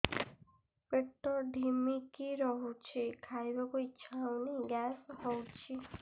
ପେଟ ଢିମିକି ରହୁଛି ଖାଇବାକୁ ଇଛା ହଉନି ଗ୍ୟାସ ହଉଚି